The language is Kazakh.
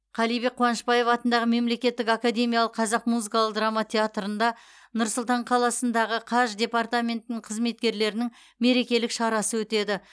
қалибек қуанышбаев атындағы мемлекеттік академиялық қазақ музыкалық драма театрында нұр сұлтан қаласындағы қаж департаментінің қызметкерлерінің мерекелік шарасы өтеді